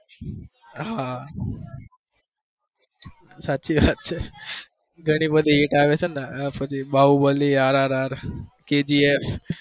હા સાચી વાત છે બાહુબલી ને rr kgf